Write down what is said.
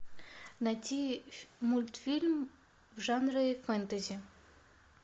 найти мультфильм в жанре фэнтези